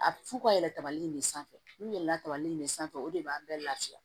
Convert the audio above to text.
A f'u ka yɛlɛ kabali in de sanfɛ n'u yɛlɛn kabali in de sanfɛ o de b'a bɛɛ lafiya